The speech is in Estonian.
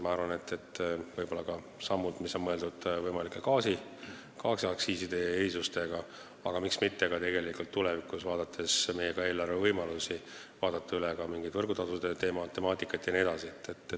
Ma arvan, et siia võiksid võib-olla kuuluda ka sammud, mis on mõeldud võimaliku gaasiaktsiisi erisuse jaoks, aga miks mitte tulevikus, arvestades meie eelarve võimalusi, vaadata üle ka võrgutasude temaatika jne.